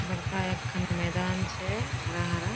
बरका एकखान मैदान छे हरा-हरा --